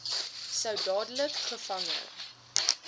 sou dadelik gevange